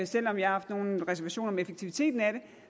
selv om jeg har haft nogle reservationer om effektiviteten af det